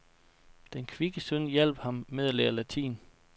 Den kvikke søn hjalp ham med at lære latin.